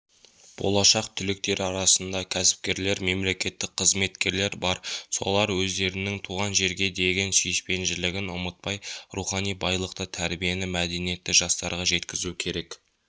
болашақ түлектері арасында кәсіпкерлер мемлекеттік қызметкерлер бар солар өздерінің туған жерге деген сүйіспеншілігін ұмытпай рухани байлықты тәрбиені мәдениетті жастарға жеткізу керек